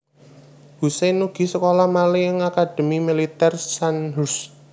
Hussein ugi sekolah malih ing Akademi Militèr Sandhurst